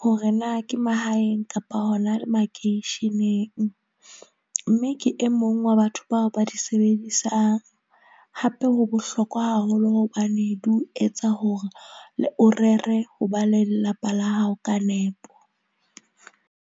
hore na ke mahaeng kapa hona makeisheneng. Mme ke e mong wa batho bao ba di sebedisang. Hape ho bohlokwa haholo hobane di o etsa hore le o rere ho ba le lelapa la hao ka nepo.